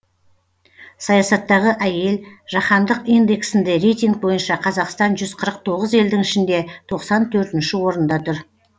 саясаттағы әйел жаһандық индексінде рейтинг бойынша қазақстан жүз қырық тоғыз елдің ішінде тоқсан төртінші орында тұр